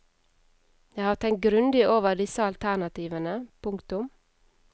Jeg har tenkt grundig over disse alternativene. punktum